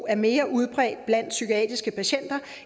er mere udbredt blandt psykiatriske patienter